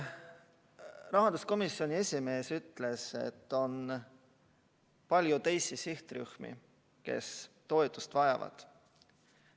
Rahanduskomisjoni esimees ütles, et on palju teisi sihtrühmi, kes toetust vajavad.